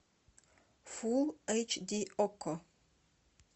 фул эйч ди окко